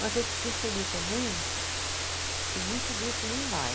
Mas eu percebi também que muito grupo nem vai.